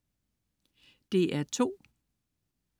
DR2: